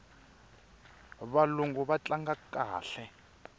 valungu va tlanga kahle